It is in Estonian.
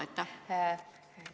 Aitäh!